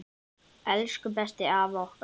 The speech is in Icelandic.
Elsku besti afi okkar!